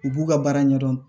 U b'u ka baara ɲɛdɔn